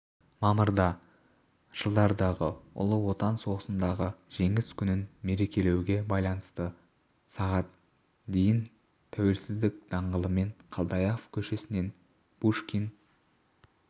мамырда жылдардағы ұлы отан соғысындағы жеңіс күнін мерекелеуге байланысты сағат дейін тәуелсіздік даңғылымен қалдаяқов көшесінен пушкин